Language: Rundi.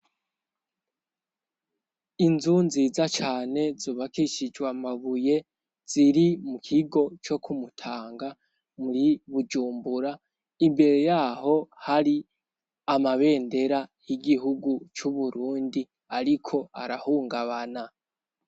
inzu nziza cane zubakishijwe mabuye ziri mu kigo co ku Mutanga muri Bujumbura imbere yaho hari amabendera y'igihugu cu Burundi ariko arahungabana.